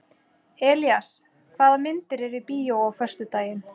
Elías, hvaða myndir eru í bíó á föstudaginn?